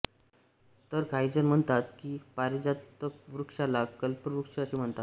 तर काहीजण म्हणतात की पारिजातकवृक्षाला कल्पवृक्ष असे म्हणतात